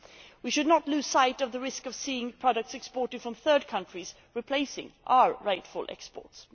We should not lose sight of the risk of seeing products exported from third countries replacing our rightful exports.